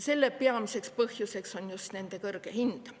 Selle peamine põhjus on nende kõrge hind.